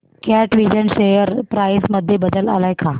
कॅटविजन share price मध्ये बदल आलाय का